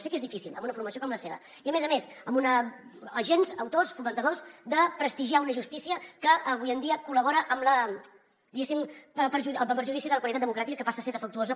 sé que és difícil en una formació com la seva i a més a més amb agents autors fomentadors de prestigiar una justícia que avui en dia col·labora amb la diguéssim per al perjudici de la qualitat democràtica que passa a ser defectuosa